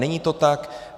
Není to tak.